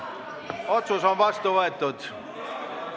Otsus on vastu võetud.